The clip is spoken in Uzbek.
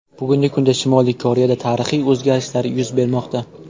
Bugungi kunda Shimoliy Koreyada tarixiy o‘zgarishlar yuz bermoqda.